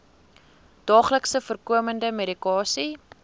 daagliks voorkomende medikasie